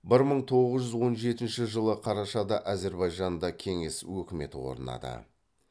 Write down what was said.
бір мың тоғыз жүз он жетінші жылы қарашада әзірбайжанда кеңес өкіметі орнады